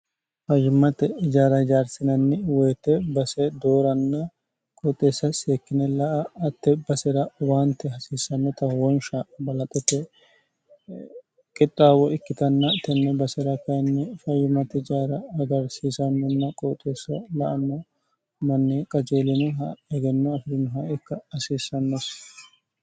fayyummati ijaara hijaarsinanni woyite base dooranna qooxeessa seekkine la a atte basera waante hasiissannota wonsha balaxote qixxaawo ikkitanna tenne basera kayinni fayyummati jaara hagarsiisannonna qooxeesso la anmo manni qajeelinoha hegenno afidinoha ikka hasiissannosi